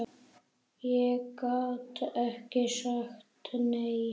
Ég gat ekki sagt nei.